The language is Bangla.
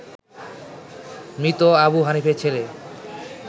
মৃত আবু হানিফের ছেলে